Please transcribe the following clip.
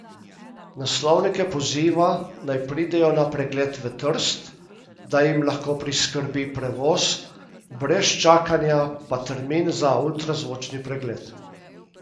Naslovnike poziva, naj pridejo na pregled v Trst, da jim lahko priskrbi prevoz, brez čakanja pa termin za ultrazvočni pregled.